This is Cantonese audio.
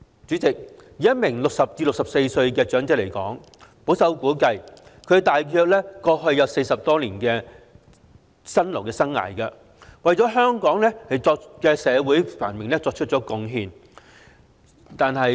主席，以一名60歲至64歲的長者來說，保守估計大約經歷了40多年的辛勞生涯，為香港社會繁榮作出貢獻。